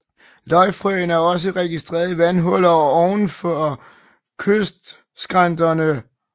Løgfrøen er også registreret i vandhuller ovenfor kystskrænterne